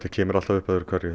kemur alltaf upp öðru hverju